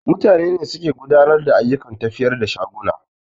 Mutane suke gudanar da ayyukan tafiyar da shaguna